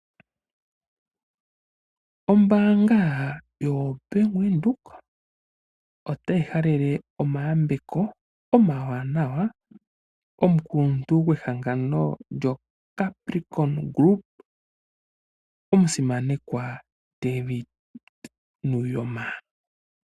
Ombaanga yoBank Windhoek otayi halele omayambeko omawanawa komukuluntu gwehangano lyoCapricon Group omusimanekwa David Nuuyoma.